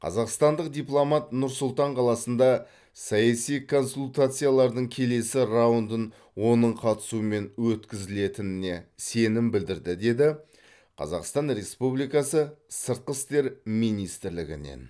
қазақстандық дипломат нұр сұлтан қаласында саяси консультациялардың келесі раундын оның қатысуымен өткізілетініне сенім білдірді деді қазақстан республикасы сыртқы істер министрлігіненен